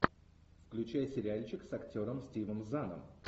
включай сериальчик с актером стивом заном